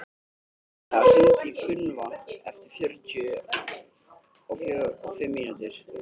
Agnea, hringdu í Gunnvant eftir fjörutíu og fimm mínútur.